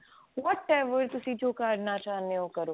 what ever ਤੁਸੀਂ ਜੋ ਕਰਨਾ ਚਾਹੁੰਦੇ ਹੋ ਕਰੋ